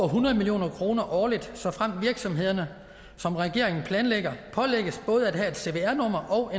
hundrede million kroner årligt såfremt virksomhederne som regeringen planlægger pålægges både at have et cvr nummer og